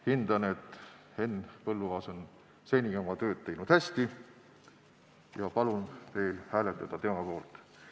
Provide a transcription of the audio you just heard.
Hindan, et Henn Põlluaas on seni oma tööd teinud hästi, ja palun teil hääletada tema poolt.